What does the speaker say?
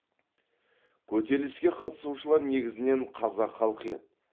көтеріліске қатысушылар негізінен қазақ халқы еді